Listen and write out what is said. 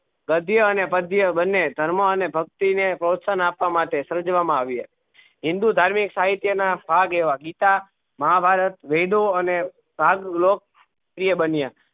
ગધ્ય અને પધ્ય બન્ને ધર્મ અને ભક્તિ ને પ્રોસ્શાહ્ન આપવા માટે સર્જવા માં આવી હે હિંદુ ધાર્મિક સહિત્ય ના ભાગ એવા ગીતા મહાભારત વેદો અને ભાગ્લોક પ્રિય બન્યા